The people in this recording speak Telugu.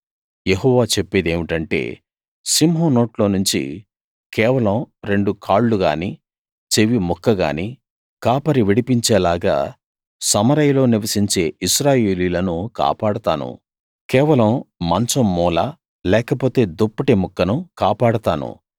యెహోవా చెప్పేదేమిటంటే సింహం నోట్లో నుంచి కేవలం రెండు కాళ్ళు గానీ చెవి ముక్క గానీ కాపరి విడిపించేలాగా సమరయలో నివసించే ఇశ్రాయేలీయులను కాపాడతాను కేవలం మంచం మూల లేకపోతే దుప్పటి ముక్కను కాపాడతాను